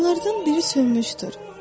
Onlardan biri sönmüşdür.